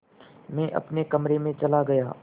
मैं अपने कमरे में चला गया